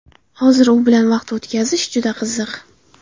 Hozir u bilan vaqt o‘tkazish juda qiziq.